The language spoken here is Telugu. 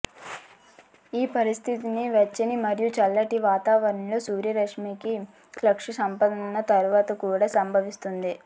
ఈ పరిస్థితి వెచ్చని మరియు చల్లటి వాతావరణంలో సూర్యరశ్మికి క్లుప్త స్పందన తర్వాత కూడా సంభవిస్తుంది